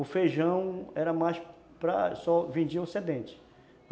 O feijão era mais para... só vendiam.